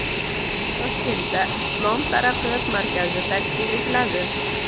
Toshkentda Islom taraqqiyot markazi tashkil etiladi.